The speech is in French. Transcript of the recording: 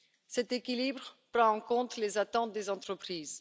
Cet équilibre prend en compte les attentes des entreprises.